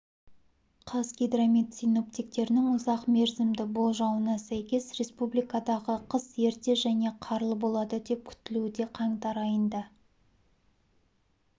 қазгидромет синоптиктерінің ұзақ мерзімді болжауына сәйкес республикадағы қыс ерте және қарлы болады деп күтілуде қаңтар айында